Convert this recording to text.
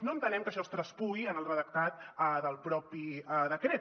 no entenem que això es traspuï en el redactat del propi decret